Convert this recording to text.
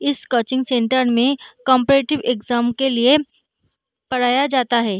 इस coaching centre में cooperative exam के लिए पढ़ाया जाता है।